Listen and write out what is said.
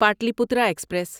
Pataliputra express